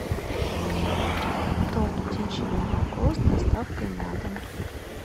торт птичье молоко с доставкой на дом